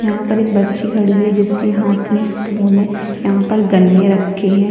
यहाँ पर एक बच्ची खड़ी है जिसके हाथ में फोन है यहाँ पर गन्ने रखे हैं।